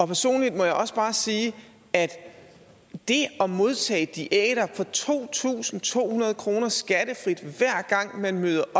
personligt må jeg også bare sige at det at modtage diæter på to tusind to hundrede kroner skattefrit hver gang man møder